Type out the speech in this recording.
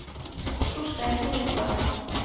Torstein Solstad